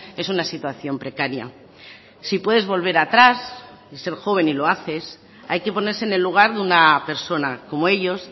es una situación precaria si puedes volver atrás y ser joven y lo haces hay que ponerse en el lugar de una persona como ellos